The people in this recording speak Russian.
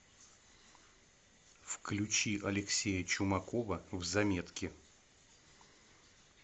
включи алексея чумакова в заметки